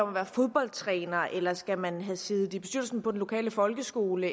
være fodboldtræner eller skal man have siddet i bestyrelsen på den lokale folkeskole